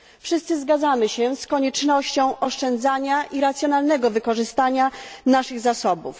Wszyscy zgadzamy się z koniecznością oszczędzania i racjonalnego wykorzystania naszych zasobów.